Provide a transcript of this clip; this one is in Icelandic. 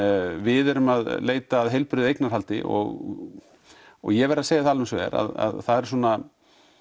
við erum að leita að heilbrigðu eignahaldi og ég verð að segja það alveg eins og er að það eru svona